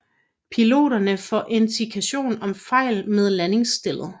Piloten får indikationer om fejl med landingsstellet